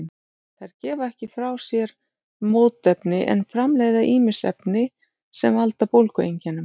Þær gefa ekki frá sér mótefni en framleiða ýmis efni sem valda bólgueinkennum.